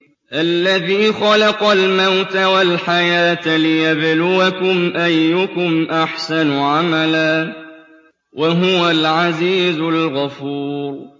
الَّذِي خَلَقَ الْمَوْتَ وَالْحَيَاةَ لِيَبْلُوَكُمْ أَيُّكُمْ أَحْسَنُ عَمَلًا ۚ وَهُوَ الْعَزِيزُ الْغَفُورُ